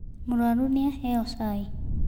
Mũrũaru nĩ aheo cai.